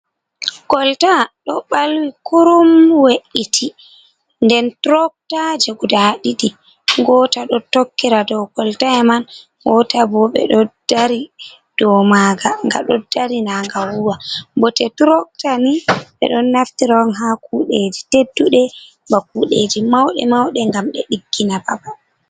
Kolta ɗo ɓalwi kurum we’iti, den turokta je gudaa ɗiɗi, gota ɗo tokkira dow kolta man gotal bo ɓe ɗo dari dow maga, ga ɗo dari na ga wuwa, bote turoktani ɓe ɗon naftiro ha kuɗeji tedduɗe, ba kuɗeji mauɗe mauɗe gam ɓe diggina babal.